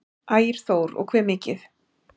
Ægir Þór: Og hve mikið?